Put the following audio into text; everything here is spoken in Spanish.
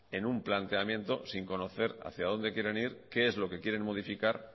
en un planteamiento sin conocer hacia dónde quieren ir qué es lo que quieren modificar